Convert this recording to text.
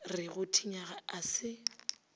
re go thinya a se